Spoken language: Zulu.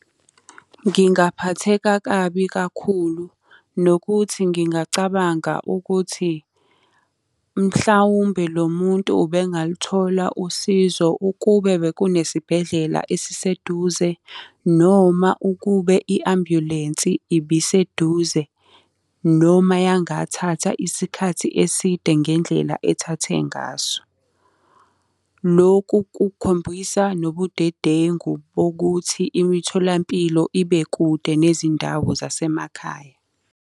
Ngingaphatheka kabi kakhulu, nokuthi ngingacabanga ukuthi mhlawumbe lo muntu ubengaluthola usizo ukube bekunesibhedlela esiseduze, noma ukube i-ambulensi ibiseduze, noma yangathatha isikhathi eside ngendlela ethathe ngaso. Loku kukhombisa nobudedengu bokuthi imitholampilo ibe kude nezindawo zasemakhaya.